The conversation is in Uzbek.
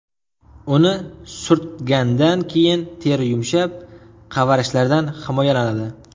Uni surtgandan keyin teri yumshab, qavarishlardan himoyalanadi.